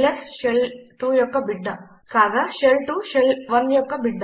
ల్స్ shell 2 యొక్క బిడ్డ కాగా షెల్ 2 షెల్ 1 యొక్క బిడ్డ